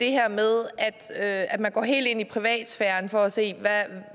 det her med at man går helt ind i privatsfæren for at se